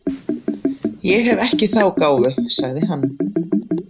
Ég hef ekki þá gáfu, sagði hann.